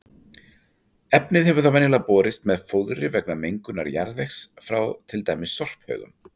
Efnið hefur þá venjulega borist með fóðri vegna mengunar jarðvegs frá til dæmis sorphaugum.